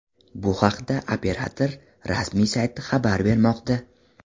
Bu haqda operator rasmiy sayti habar bermoqda.